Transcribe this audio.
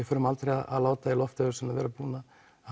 förum aldrei að láta það í lofti án þess að vera búin að